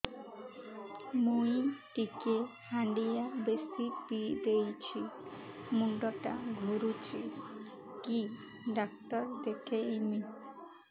ମୁଇ ଟିକେ ହାଣ୍ଡିଆ ବେଶି ପିଇ ଦେଇଛି ମୁଣ୍ଡ ଟା ଘୁରୁଚି କି ଡାକ୍ତର ଦେଖେଇମି